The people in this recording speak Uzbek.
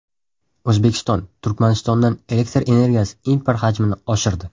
O‘zbekiston Turkmanistondan elektr energiyasi import hajmini oshirdi.